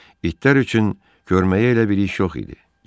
İtlər üçün köməyi elə bir iş yox idi.